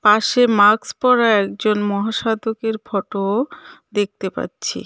পাশে মাক্স পড়া একজন মহা সাধকের ফটোও দেখতে পাচ্ছি.